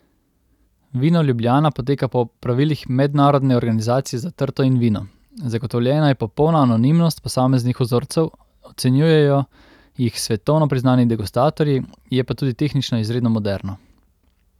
Vino Ljubljana poteka po pravilih Mednarodne organizacije za trto in vino, zagotovljena je popolna anonimnost posameznih vzorcev, ocenjujejo jih svetovno priznani degustatorji, je pa tudi tehnično izredno moderno.